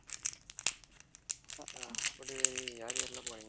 அஹ் கொடிவேரி யார் யாரெல்லாம் போனீங்க